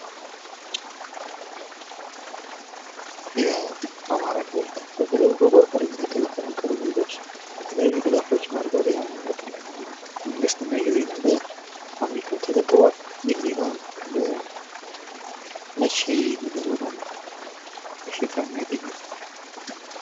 የአማራ ክልል በጎርፍ ለተፈናቀሉ ዜጎች የተለያዩ ድጋፎችን አድርጓል የአማራ ክልል መንግስትና ይህ ዜና በ አሚኮ ተዘግቧል። ይህ ዜና መቼ ነበር በጣም ሽፋን ያገኘው?